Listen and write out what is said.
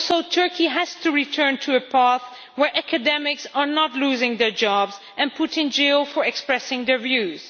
Turkey has to return to a path where academics are not losing their jobs and put in jail for expressing their views.